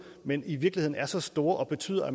men i virkeligheden er så store og betyder at